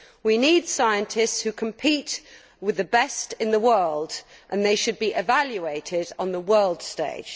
We need scientists who compete with the best in the world and they should be evaluated on the world stage.